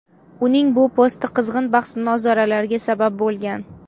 Uning bu posti qizg‘in bahs-munozaralarga sabab bo‘lgan.